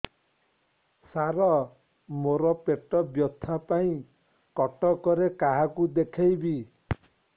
ସାର ମୋ ର ପେଟ ବ୍ୟଥା ପାଇଁ କଟକରେ କାହାକୁ ଦେଖେଇବି